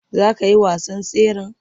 Za ka yi wasan tseren?